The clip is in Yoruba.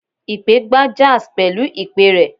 Ipè gbá jazz pẹlu ipè rẹ̀